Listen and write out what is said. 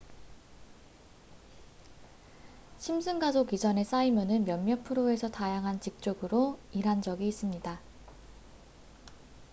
심슨 가족 이전에 사이먼은 몇몇 프로에서 다양한 직종으로 일한 적이 있습니다